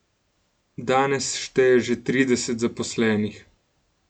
Danes šteje že trideset zaposlenih.